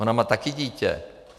Ona má také dítě.